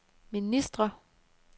ministre